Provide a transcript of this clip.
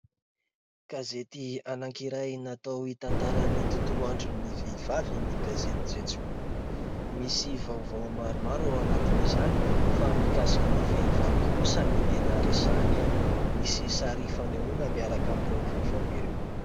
Gazety anakiray natao hitantarany ny tontolo andron'ny vehivavy ny gazety "jejoo". Misy vaovao maromaro ao anatin'izany, fa mikasika ny vehivavy kosa ny tena resahana. Misy sary fanehoana miaraka amin'ireo vaovao ireo.